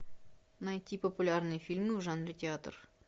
найти популярные фильмы в жанре театр